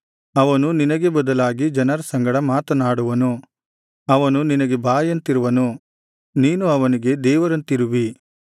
ಅವನು ನಿನಗೆ ಬದಲಾಗಿ ಜನರ ಸಂಗಡ ಮಾತನಾಡುವನು ಅವನು ನಿನಗೆ ಬಾಯಂತಿರುವನು ನೀನು ಅವನಿಗೆ ದೇವರಂತಿರುವಿ